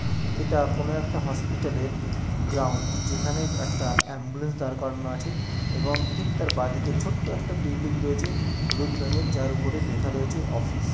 এটা কোন একটা হসপিটাল -এর গ্রাউন্ড যেখানে একটা অ্যাম্বুলেন্স দাঁড় করানো আছে এবং ঠিক তার বাঁদিকে ছোট্ট একটা বিল্ডিং রয়েছে হলুদ রঙের যার উপরে লেখা রয়েছে অফিস ।